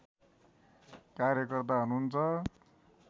कार्यकर्ता हुनुहुन्छ